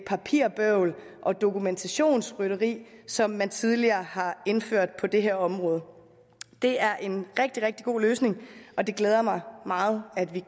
papirbøvl og dokumentationsrytteri som man tidligere har indført på det her område det er en rigtig rigtig god løsning og det glæder mig meget at vi